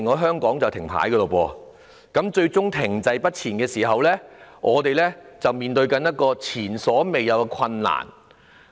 香港停滯不前時，我們就要面對前所未有的困境。